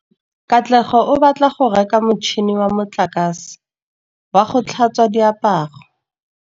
Katlego o batla go reka motšhine wa motlakase wa go tlhatswa diaparo.